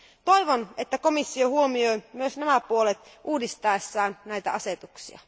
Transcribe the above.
Toivon, että komissio huomioi myös nämä puolet uudistaessaan näitä asetuksia.